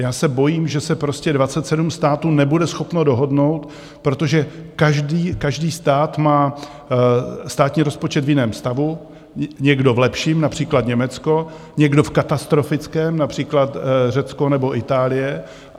Já se bojím, že se prostě 27 států nebude schopno dohodnout, protože každý stát má státní rozpočet v jiném stavu, někdo v lepším, například Německo, někdo v katastrofickém, například Řecko nebo Itálie.